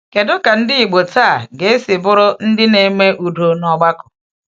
Kedu ka ndị Igbo taa ga-esi bụrụ ndị na-eme udo n’ọgbakọ?